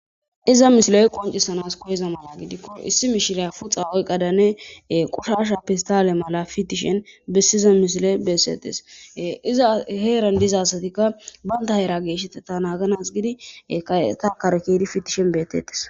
iza misiley qoncissanas koyezama yaagidikko issi mishiley puxa oyqadanne qushasha pistale mala fitishen bessiza mishile bessetese iza heeran dizasatikka banta heera geeshette ta naaganas gidi kayeta kare kiedi fitishen beettetes